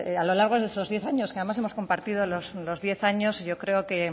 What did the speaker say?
a lo largo de estos diez años que además hemos compartido los diez años yo creo que